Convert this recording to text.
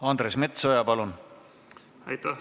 Andres Metsoja, palun!